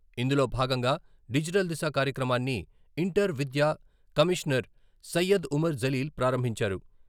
ఇందులో భాగంగా డిజిటల్ దిశ కార్యక్రమాన్ని.. ఇంటర్ విద్య కమిషనర్ సయ్యద్ ఉమర్ జలీల్ ప్రారంభించారు.